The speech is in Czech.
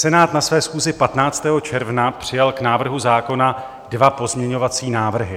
Senát na své schůzi 15. června přijal k návrhu zákona dva pozměňovací návrhy.